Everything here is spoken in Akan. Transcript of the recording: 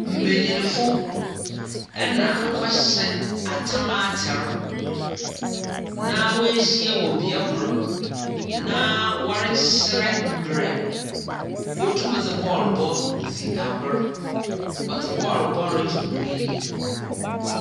Mbenyinfo na wɔhyɛ a tam atar na woehyia wɔ bea kor. Na wɔrekyerɛ mber wotum dze bɔɔlobɔ dzi agor. Wɔddze bɔɔlobɔ regye hɔn enyi.